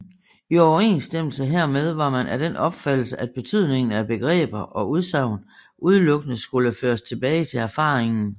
I overensstemmelse hermed var man af den opfattelse at betydningen af begreber og udsagn udelukkende skulle føres tilbage til erfaringen